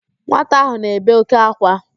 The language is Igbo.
Nwata ahụ na-ebe òké ákwá